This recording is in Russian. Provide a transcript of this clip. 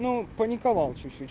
ну паниковал чуть-чуть